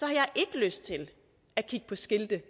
jeg ikke lyst til at kigge på skilte